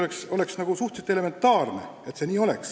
See oleks nagu suhteliselt elementaarne.